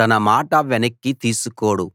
తన మాట వెనక్కి తీసుకోడు